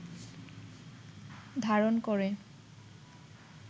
ধারণ করে